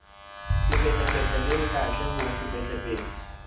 sepetlele le kantle ho sepetlele